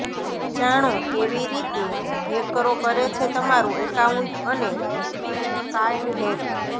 જાણો કેવી રીતે હેકરો કરે છે તમારું એકાઉન્ટ અને કાર્ડ હેક